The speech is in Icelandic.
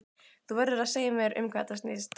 Þú verður að segja mér um hvað þetta snýst.